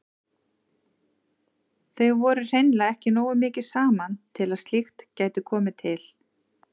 Þau voru hreinlega ekki nógu mikið saman til að slíkt gæti komið til.